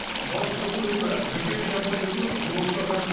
бас прокуратура бек эйр компаниясын жолаушыларға